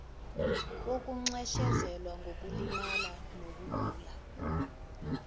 wokunxeshezelwa ngokulimalela nokugulela